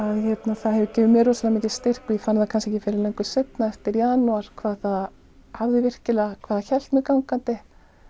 að það hefur gefið mér rosalega mikinn styrk og ég fann það kannski ekki fyrr en löngu seinna eftir janúar hvað það hvað það hélt mér gangandi